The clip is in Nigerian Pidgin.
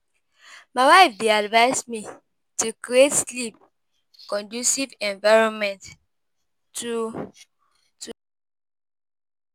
My wife dey advise me to create sleep-conducive environment to to.